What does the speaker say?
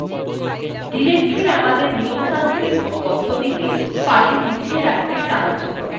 directory আমাদের নিয়মতান্ত্রিক পদ্ধতিতে files গুছিয়ে রাখতে সাহায্য করে